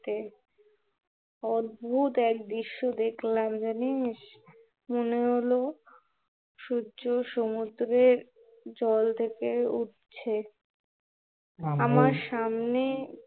অদ্ভত এক দৃশ্য দেখলাম জানিস্, মনে হলো সূর্য সমুদ্রের জল থেকে উঠছে আমার সামনে